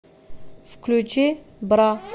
включи бра